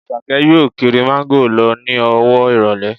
Àṣàkẹ́ yóò kiri Máńgò lọ ní ọwọ́ ìrọ̀lẹ́